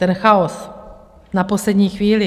Ten chaos na poslední chvíli.